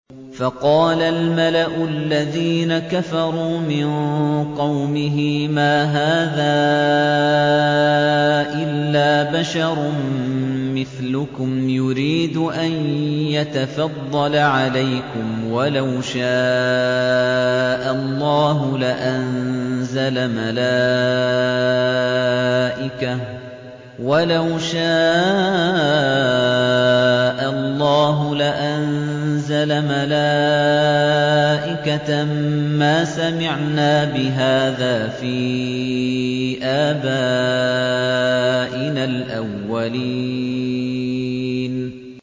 فَقَالَ الْمَلَأُ الَّذِينَ كَفَرُوا مِن قَوْمِهِ مَا هَٰذَا إِلَّا بَشَرٌ مِّثْلُكُمْ يُرِيدُ أَن يَتَفَضَّلَ عَلَيْكُمْ وَلَوْ شَاءَ اللَّهُ لَأَنزَلَ مَلَائِكَةً مَّا سَمِعْنَا بِهَٰذَا فِي آبَائِنَا الْأَوَّلِينَ